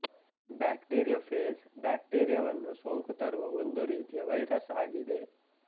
bacteriophage ಬ್ಯಾಕ್ಟೀರಿಯಾವನ್ನು ಸೋಂಕು ತರುವ ಒಂದು ರೀತಿಯ ವೈರಸ್ ಆಗಿದೆ